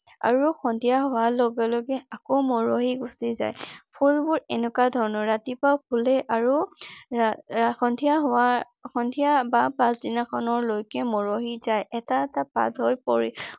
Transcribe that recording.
আৰু সন্ধিয়া হোৱাৰ লগে লগে আকৌ মৰহি গুছি যায়। ফুলবোৰ এনেকুৱা ধৰণৰ ৰাতিপুৱা ফুলে আৰু সন্ধিয়া হোৱাৰ সন্ধিয়া বা পাছদিনা খনলৈকে মৰহি যায়। এটা এটা পাহ লৈ